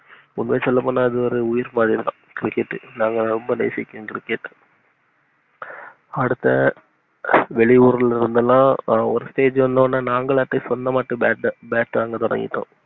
உண்மைய சொல்ல போன்னா இது உயிர் மாதிரி தான் நாங்க ரொம்ப நேசிச்சோம். cricket அஹ் அடுத்த அஹ் வெளியூருல இருந்துலாம் ஒரு stage வந்தததுமே நாங்களே சொந்தமா bat அஹ் bat ஹம் வாங்க தொடங்கிட்டோம்.